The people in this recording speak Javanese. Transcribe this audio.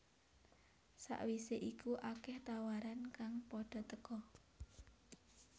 Sakwise iku akeh tawaran kang padha teka